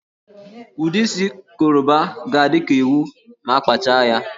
Ụdị isi Koroba ga-adị ka ịwụ ma a kpachaa ya